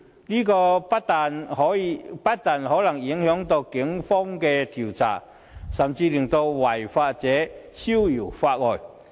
這不但可能影響警方的調查，甚至會令違法者逍遙法外。